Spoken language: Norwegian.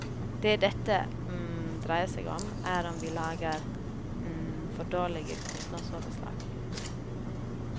Det dette dreier seg om, er om vi lager for dårlige kostnadsoverslag.